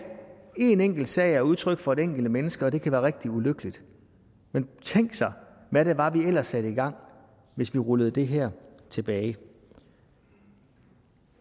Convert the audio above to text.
én enkelt sag er udtryk for et enkelt menneske og det kan være rigtig ulykkeligt men tænk sig hvad det var vi ellers satte i gang hvis vi rullede det her tilbage